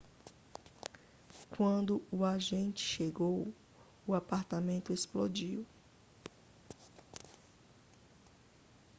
quando o agente chegou o apartamento explodiu